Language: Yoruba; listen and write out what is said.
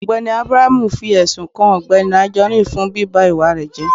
Ọgbẹni Abraham fi ẹsún kàn Ọgbẹni Anjorin fún bíbá ìwà rẹ jẹ